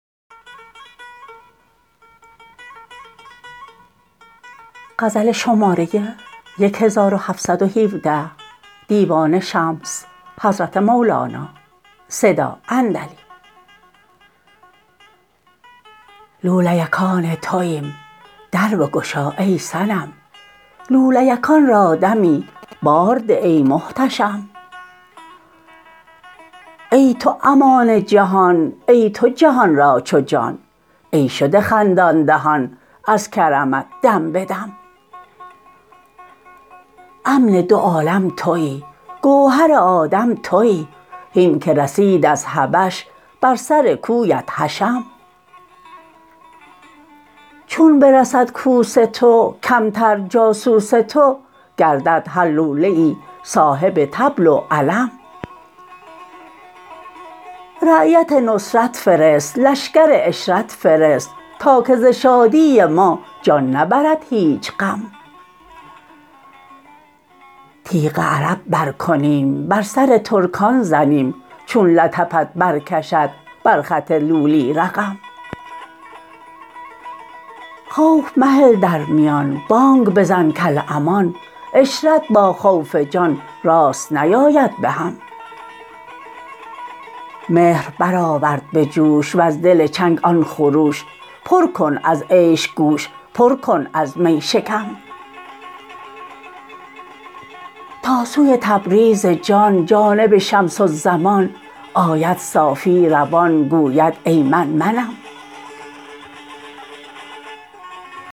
لولیکان تویم در بگشا ای صنم لولیکان را دمی بار ده ای محتشم ای تو امان جهان ای تو جهان را چو جان ای شده خندان دهان از کرمت دم به دم امن دو عالم توی گوهر آدم توی هین که رسید از حبش بر سر کوی حشم چون برسد کوس تو کمتر جاسوس تو گردد هر لولیی صاحب طبل و علم رایت نصرت فرست لشکر عشرت فرست تا که ز شادی ما جان نبرد هیچ غم تیغ عرب برکنیم بر سر ترکان زنیم چون لطفت برکشد بر خط لولی رقم خوف مهل در میان بانگ بزن کالامان عشرت با خوف جان راست نیاید به هم مهر برآور به جوش وز دل چنگ آن خروش پر کن از عیش گوش پر کن از می شکم تا سوی تبریز جان جانب شمس الزمان آید صافی روان گوید ای من منم